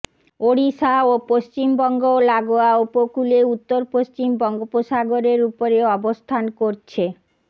ওড়িশা ও পশ্চিমবঙ্গ লাগোয়া উপকূলে উত্তর পশ্চিম বঙ্গোপসাগরের উপরে অবস্থান করছে